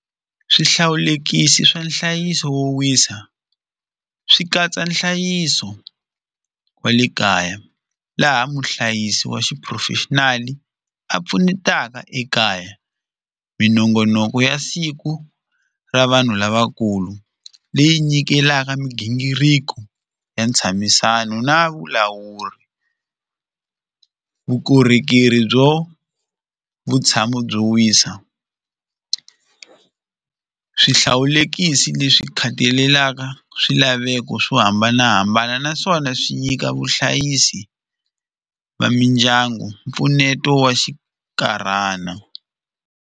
Swihlawulekisi swa nhlayiso wo wisa swi katsa nhlayiso wa le kaya laha muhlayisi wa xiphurofexinali a pfunetaka ekaya minongonoko ya siku ra vanhu lavakulu leyi nyikelaka migingiriko ya ntshamisano na vulawuri vukorhokeri byo vutshamo byo wisa swihlawulekisi leswi khathalelaka swilaveko swo hambanahambana naswona swi nyika vuhlayisi va mindyangu mpfuneto wa xinkarhana.